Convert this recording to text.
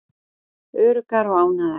Öruggar og ánægðar.